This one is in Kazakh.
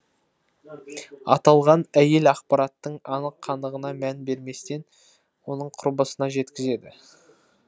аталған әйел ақпараттың анық қанығына мән берместен оның құрбысына жеткізеді